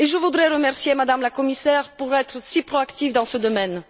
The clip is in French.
Je voudrais remercier Madame la Commissaire d'être aussi proactive dans ce domaine.